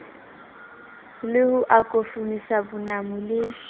le ho akofisa bonamo le